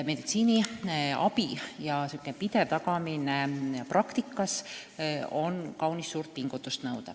Meditsiiniabi ja selle pidev tagamine praktikas nõuab kaunis suurt pingutust.